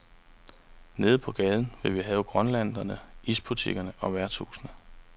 Nede på gaden vil vi have grønthandlere, isbutikker og værtshuse.